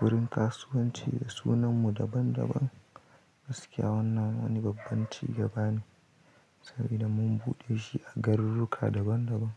gurin kasuwanci sunan mu daban daban. Gaskiya wannan wani babban cigaba ne, sabida mun buɗe shi a garuruka daban daban.